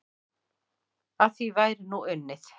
Að því væri nú unnið.